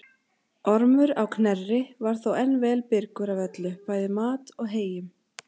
Ormur á Knerri var þó enn vel byrgur af öllu, bæði mat og heyjum.